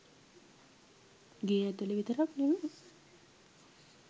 ගේ ඇතුළ විතරක් නෙවෙයි